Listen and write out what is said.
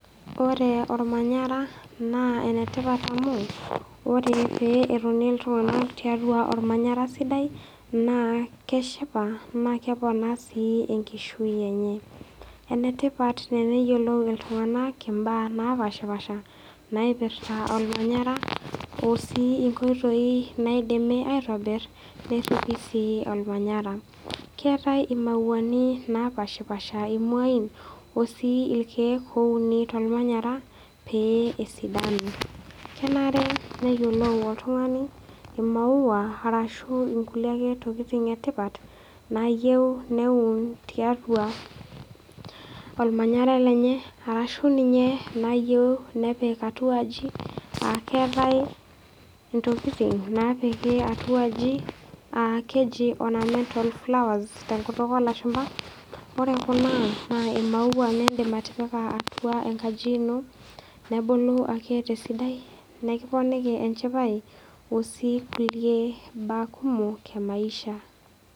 Ore olmanya naa enetipat amu ore pee etini iltung'ana tiatua olmanyara sidai naa keshipa naa kepona sii enkishui enye. Enetipat teneyiolou iltung'ana imbaa napaashipaasha naipirta olmanyara osii inkoitoi naidimi aitobir pee eripi sii olmanyara. Keatai imauani napaashipaasha imuain o sii ilkeek ouni tolmanyara pee esidanu. Kenare neyiolou oltung'ani imaua arashu inkulie ake tokitin e tipt nayeu neun tiatua olmanyara lenye ashu ninye tenepik atuaji a keatai intokitin napiki atuaji a keji ornamental flowers tenkutuk olashumba. Ore kuna naa imaua niindim atipika atua enkaji ino nebulu ake tesidai, nekiponiki enchipai o sii kulie baa kumok emaisha.